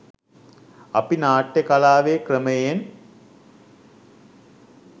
අපි නාට්‍ය කලාවේ ක්‍රමයෙන්